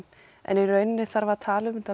en í raun þarf að tala um þetta